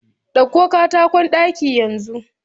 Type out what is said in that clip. Ɗauko katakon ɗaki yanzu